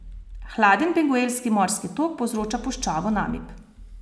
Hladen Benguelski morski tok povzroča puščavo Namib.